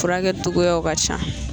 Furakɛcogoyaw ka ca